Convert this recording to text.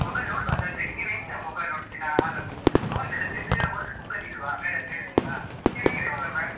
Mobile ನೋಡ್ಬಾರ್ದು ಜಾಸ್ತಿಯಾಗಿ, ನೀವು ಎಂತ mobile ನೋಡುದು ದಿನಾಲೂ? Notes ಎಲ್ಲ ಬೆ ಬೇರೆಯವರು ಕೊಡು book ಅಲ್ಲಿ ಇಲ್ವಾ madam ಹೇಳುದಿಲ್ವ